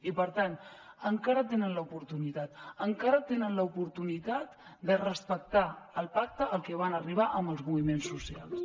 i per tant encara tenen l’oportunitat encara tenen l’oportunitat de respectar el pacte al que van arribar amb els moviments socials